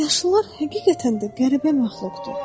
Yaşlılar həqiqətən də qəribə məxluqdur.